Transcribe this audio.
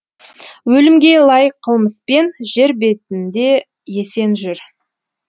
өлімге лайық қылмыспен жер бетінде есен жүр